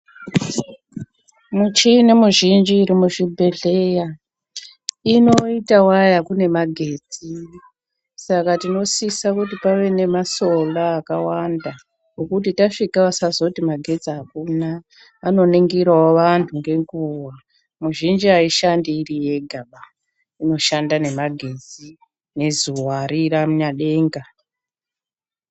Michini mizhinji iri muzvibhedhleya inoita waya kune magetsi. Saka tinosisa kuti pave nemasola akawanda ekuti tasvika vasazoti magetsi akuna. Vanoningirawo vantu ngenguwa. Mizhinji aishandi iri yegaba, inoshanda nemagetsi nezuva remunyadenga.